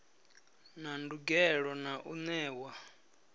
na ndugelo na u newa